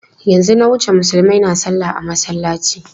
Yanzu na wuce Musulmai na salla a masallaci.